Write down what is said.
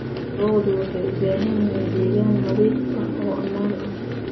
Lo'du waxay u baahan yihiin deegaan nadiif ah oo ammaan ah.